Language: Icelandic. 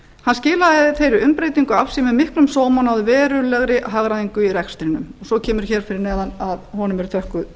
hann skilaði þeirri umbreytingu af sér með miklum sóma og náði verulegri hagræðingu í rekstrinum svo kemur hér fyrir neðan að honum eru þökkuð